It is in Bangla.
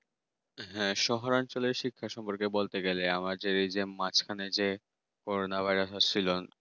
হ্যাঁ শহর অঞ্চলে শিক্ষা সম্বন্ধে কিছু বলতে গেলে আমার হয়েছে মাঝখানে যে corona virus ছিল